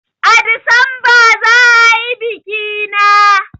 A Disamba za a yi biki na